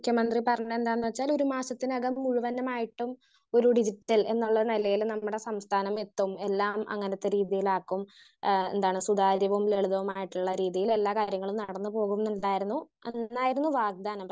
Speaker 1 മുഖ്യ മന്ത്രി പറഞ്ഞതെന്താന്ന് വെച്ചാ ഒരു മാസത്തിനകം നിർബന്ധമായിട്ടും ഒരു ഡിജിറ്റൽ എന്നുള്ള നിലയിൽ നമ്മുടെ സംസ്ഥാനമെത്തും. എല്ലാം അങ്ങനത്തെ രീതിയിലാക്കും. ആ എന്താണ് സുതാര്യവും ലളിതവുമായിട്ടുള്ള രീതിയിൽ എല്ലാ കാര്യങ്ങളും നടന്ന് പോകുന്നുണ്ടായിരുന്നു അതൊന്നായിരുന്നു വാഗ്ദാനം.